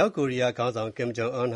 ောက်ကိုရီးယားခေါင်းဆောင် ကင်ဂျုံအွန်